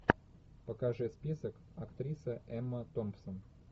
покажи список актриса эмма томпсон